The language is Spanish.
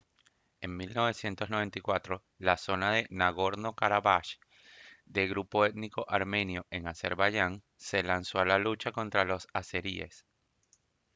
en 1994 la zona de nagorno-karabaj de grupo étnico armenio en azerbaiyán se lanzó a la lucha contra los azeríes